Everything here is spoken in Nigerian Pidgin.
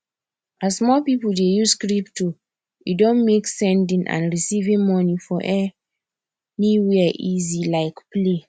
as more people dey use crypto e don make sending and receiving money for anywhere easy like play